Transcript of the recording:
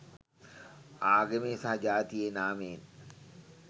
ආගමේ සහ ජාතියේ නාමයෙන්